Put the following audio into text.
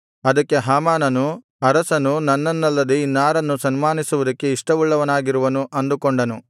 ಅದಕ್ಕೆ ಹಾಮಾನನು ಅರಸನು ನನ್ನನ್ನಲ್ಲದೆ ಇನ್ನಾರನ್ನು ಸನ್ಮಾನಿಸುವುದಕ್ಕೆ ಇಷ್ಟವುಳ್ಳವನಾಗಿರುವನು ಅಂದುಕೊಂಡನು